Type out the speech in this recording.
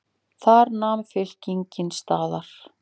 Þar nam fylkingin staðar.